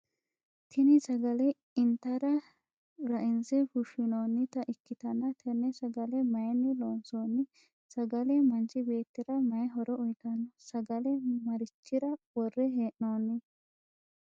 Tinni sagale intara ra'inse fushinoonnita ikitanna tenne sagale mayinni loonsoonni? Sagale manchi beetira mayi horo uuyitano? Sagale marichira wore hee'noonni?